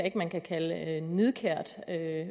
at man kan kalde nidkært